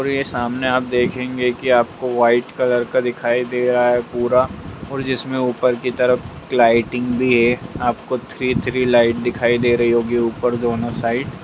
और यह सामने आप देखेंगे की आपको व्हाइट कलर का दिखाई दे रहा है पूरा और जिसमे ऊपर की तरफ लाइटिंग भी है आपको थ्री थ्री लाइट दिखाई दे रही होगी ऊपर दोनों साइड --